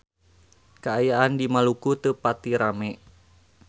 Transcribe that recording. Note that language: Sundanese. Kaayaan di Maluku teu pati rame